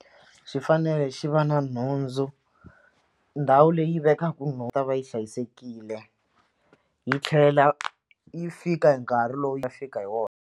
Xi fanele xi va na nhundzu ndhawu leyi vekaka yi ta va yi hlayisekile yi tlhela yi fika hi nkarhi lowu yi fika hi wona.